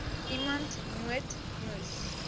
iemand nood moes